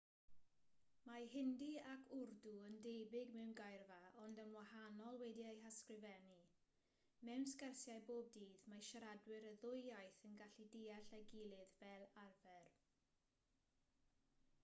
mae hindi ac wrdw yn debyg mewn geirfa ond yn wahanol wedi'u hysgrifennu mewn sgyrsiau bob dydd mae siaradwyr y ddwy iaith yn gallu deall ei gilydd fel arfer